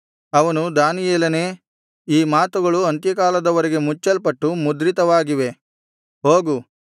ಅವನು ದಾನಿಯೇಲನೇ ಈ ಮಾತುಗಳು ಅಂತ್ಯಕಾಲದ ವರೆಗೆ ಮುಚ್ಚಲ್ಪಟ್ಟು ಮುದ್ರಿತವಾಗಿವೆ ಹೋಗು